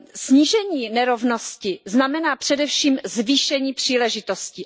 Snížení nerovnosti znamená především zvýšení příležitostí.